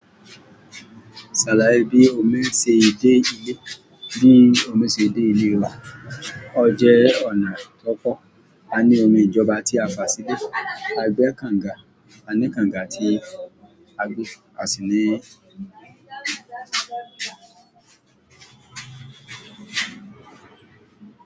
Ṣàlàyẹ bí omi ṣe dé ilé, bí omi ṣe dé ilé wa, ó jẹ́ ọ̀nà tó pọ́. Aní omi ìjọba tí a fà sílé, a gbé kànga, a ní kànga tí a gbé, a sì ní.